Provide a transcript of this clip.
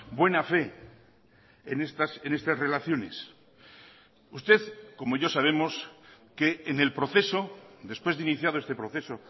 buena fe en estas relaciones usted como yo sabemos que en el proceso después de iniciado este proceso